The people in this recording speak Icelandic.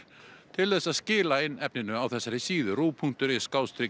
til þess að skila inn efninu á þessari síðu punktur is